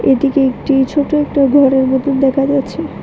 এদিকে একটি ছোট একটা ঘরের মতন দেখা যাচ্ছে।